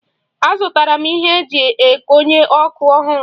Azụtara m ihe e ji ekonye okpu ọhụrụ.